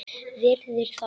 Virðir þá.